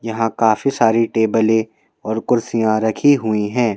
यहां काफी सारी टेबलें और कुर्सियां रखी हुई हैं।